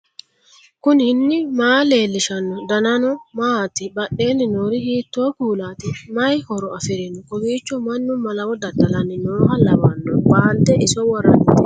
knuni maa leellishanno ? danano maati ? badheenni noori hiitto kuulaati ? mayi horo afirino ? kowiicho mannu malawo dada'lanni nooha lawanno baalde iso worrannitekka